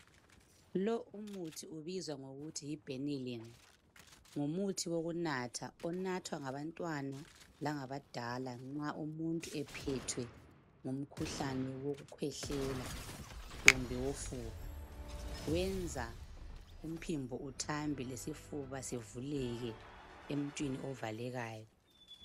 Lo umuthi ubizwa ngokuthi yi benylin ngumuthi wokunatha. Unathwa ngabantwana langa abadala nxa umuntu ephethwe ngumkhuhlane wokukhwehlela kumbe wofuba. Wenza umphimbo uthambe lesifuba sivuleke emuntwini ovalekayo.